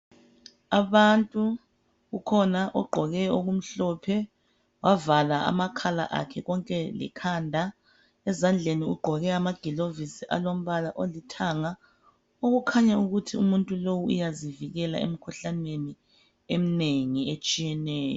Abantu, ukhona ogqoke okumhlophe wavala amakhala akhe konke lekhanda, ezandleni ugqoke ama gulovisi alombala olithanga okukhanya ukuthi umuntu lo uyazivikela emikhuhlaneni eminengi etshiyeneyo.